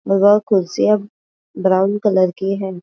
वह कुर्सिया brown colour की है।